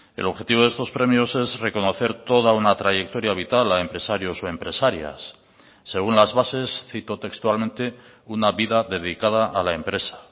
el objetivo de estos premios es reconocer toda una trayectoria vital a empresarios o empresarias según las bases cito textualmente una vida dedicada a la empresa